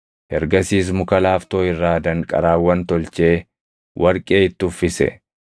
Ergasiis muka laaftoo irraa danqaraawwan tolchee warqee itti uffise.